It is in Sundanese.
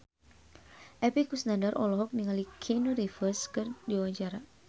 Epy Kusnandar olohok ningali Keanu Reeves keur diwawancara